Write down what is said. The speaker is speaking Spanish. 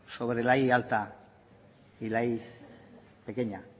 sobre la primero alta y la primero pequeña